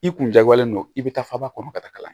I kun jagoyalen don i bɛ taa faba kɔnɔ ka taga